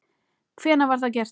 Hvenær var það gert?